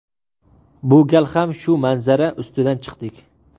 Bu gal ham shu manzara ustidan chiqdik.